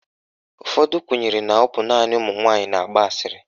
Ụfọdụ kwenyere na ọ bụ naanị ụmụnwaanyị na-agba asịrị.